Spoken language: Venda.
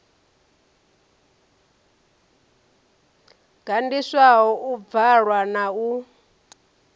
gandiswaho u bvalwa na u